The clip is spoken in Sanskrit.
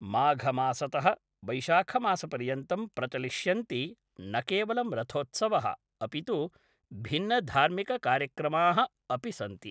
माघमासतः वैशाखमासपर्यन्तं प्रचलिष्यन्ति न केवलं रथोत्सवः अपि तु भिन्नधार्मिककार्यक्रमाः अपि सन्ति